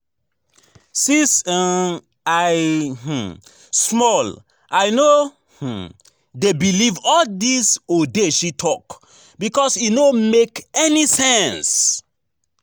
Since um I um small I no um dey believe all dis odeshi talk because e no make any sense